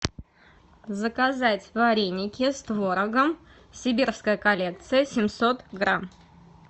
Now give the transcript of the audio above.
заказать вареники с творогом сибирская коллекция семьсот грамм